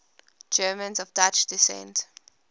germans of dutch descent